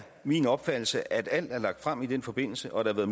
min opfattelse at alt er lagt frem i den forbindelse og at der